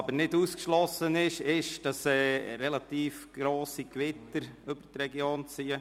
Allerdings ist es nicht ausgeschlossen, dass relativ heftige Gewitter über die Region ziehen.